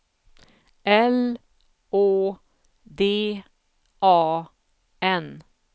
L Å D A N